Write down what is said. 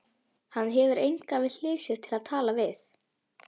Hann hefur engan við hlið sér til að tala við.